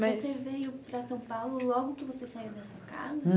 mas. Você veio para São Paulo logo que você saiu da sua casa?